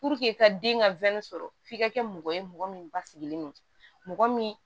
i ka den ka sɔrɔ f'i ka kɛ mɔgɔ ye mɔgɔ min basigilen no mɔgɔ min